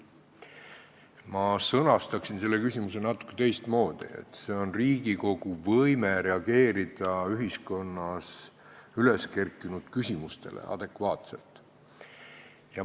Mina sõnastaksin selle küsimuse natuke teistmoodi: see on Riigikogu võime ühiskonnas üles kerkinud küsimustele adekvaatselt reageerida.